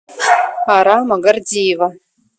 арама гордеева